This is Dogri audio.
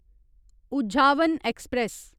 उझावन ऐक्सप्रैस